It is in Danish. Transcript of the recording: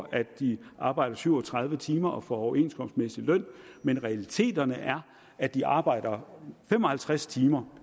at de arbejder syv og tredive timer og får overenskomstmæssig løn men realiteterne er at de arbejder fem og halvtreds timer